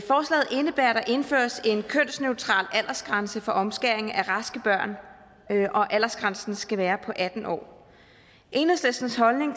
der indføres en kønsneutral aldersgrænse for omskæring af raske børn og at aldersgrænsen skal være på atten år enhedslistens holdning